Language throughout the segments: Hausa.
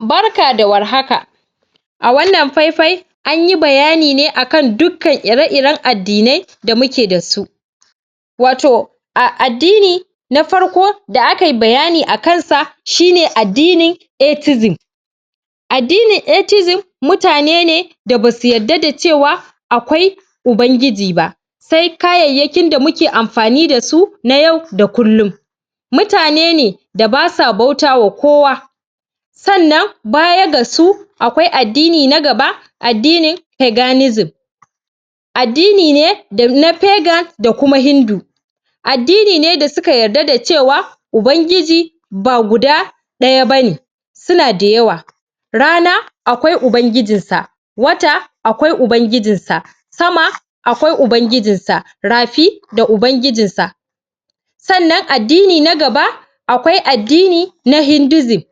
barka da warhaka a wannan faifai anyi bayani ne akan dukkan ire iren addinai da muke dasu wato a addini na farko da akai bayani a kansa shine addini ethism addinin ethism mutane ne da basu yada da cewa akwai ubangiji ba sai kayayyakin da muke amfani dasu na yau da kullin mutane ne da basa bautawa kowa sannan baya gasu akwai addini na gaba addinin.addinin peganism addini ne na pegan da kuma hindu addini ne da suka yarda da cewa ubangiji ba guda ɗaya bane suna da yawa rana akwai ubangijinsa wata akwai ubangijinsa sama akwai ubangijinsa rafi da ubangijinsa sannan addini na gaba akwai addini na hindisim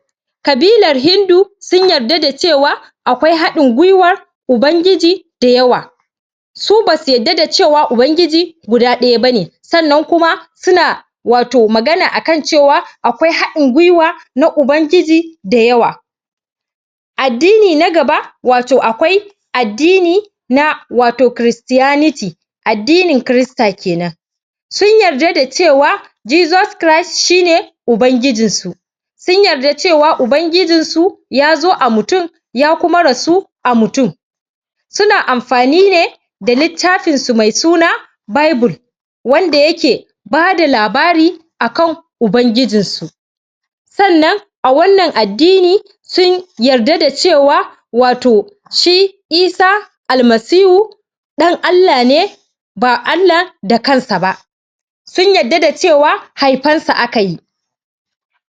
ƙabilar hindu sunyarda da cewa akwai haɗin gwiwar ubangiji da yawa su basu yadda da cewa ubangiji guda ɗaya bane sannan kuma suna wato magana akan cewa akwai haɗin gwiwa na ubangiji da yawa addini na gaba wato akwai addini na wato christianity addinin christer kenan sun yarda da cewa jesus christ shine ubangijinsu sun yarda da cewa ubangijinsu yazo a mutum ya kuma rasu a mutum suna amfani ne da littafin su me suna bible wanda yake bada labari akan ubangijinsu sannan a wannan addini sun yarda da cewa wato shi isah almasihu ɗan Allah ne ba Allah da kansa ba sun yarda da cewa haifansa akayi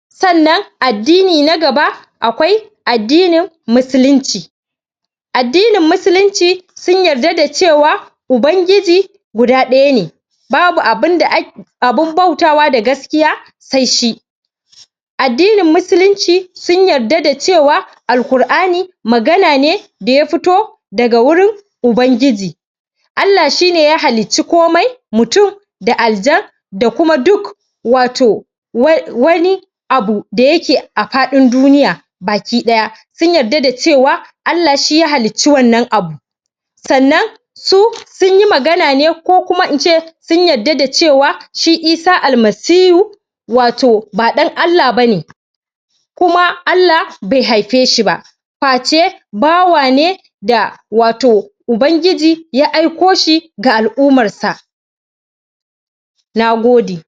sannan addini na gaba akwai addinin musulunci addinin musulunci sun yarda da cewa ubangiji guda ɗaya ne babu abun bautawa da gaskiya sai shi addinin musulunci sun yarda da cewa alqur'ani magana ne da ya fito daga wurin ubangiji Allah shine ya halicci komai mutum da aljan da kuma duk wato wani abu da yake a faɗin duniya baki ɗaya sun yarda da cewa Allah shi ya halicci wannan abu sannan su sunyi magana ne ko kuma ince sun yarda da cewa shi isah almasihu wato ba ɗan Allah bane kuma Allah be haife shiba face bawane da wato ubangiji ya aiko shi ga al'umarsa nagode